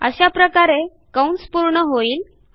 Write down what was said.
अशाप्रकारे कंस पूर्ण होईल